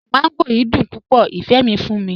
Mangò yiì dùn púpọ̀, ifẹ́ mi fún mi.